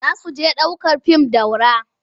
Za su je ɗ aukar fim Daura.